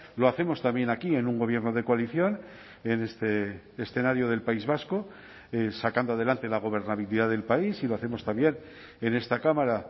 lo hacemos también aquí en un gobierno de coalición en este escenario del país vasco sacando adelante la gobernabilidad del país y lo hacemos también en esta cámara